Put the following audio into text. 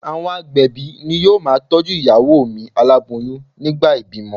Àwọn agbẹ̀bí ni yóò ma tọ́jú ìyàwó mi aláboyún nígbà ìbímọ.